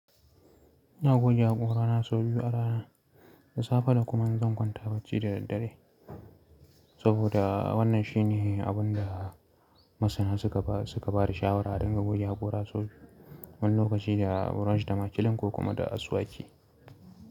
Ina goge haƙora na sau biyu a rana, da safe da kuma in zan kwanta bacci da daddare. Saboda wannan shine abin da masana suka ba, suka ba da shawara adinga goge haƙora sau biyu, wani lokaci da brush da makiln ko kuma da asuwaki.